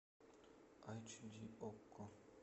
айч ди окко